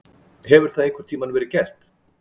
Hefur það einhvern tímann verið gert?